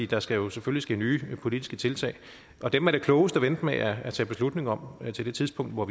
der skal jo selvfølgelig ske nye politiske tiltag og dem er det klogest at vente med at tage beslutning om til det tidspunkt hvor